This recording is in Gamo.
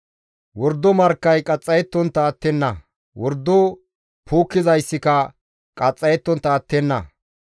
Wordo markkay qaxxayettontta attenna; wordo puukkizaykka qaxxayettontta attenna.